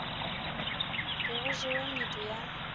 be go jewa medu ya